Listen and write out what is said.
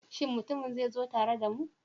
Shin mutumin zai zo tare da mu?